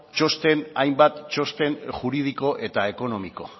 hainbat txosten juridiko eta ekonomiko